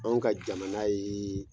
Anw ka jamana ye